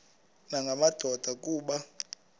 nanga madoda kuba